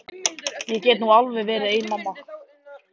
Ég get nú alveg verið ein mamma.